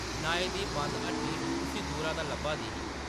नाई दी बंद हट्टी उस्सी दूरा दा लब्भा दी ही।